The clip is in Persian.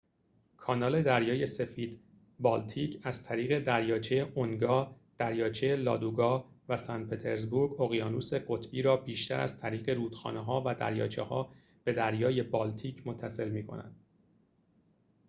کانال دریای سفید-بالتیک از طریق دریاچه اونگا دریاچه لادوگا و سنت‌پطرزبورگ اقیانوس قطبی را بیشتر از طریق رودخانه‌ها و دریاچه‌ها به دریای بالتیک متصل می‌کند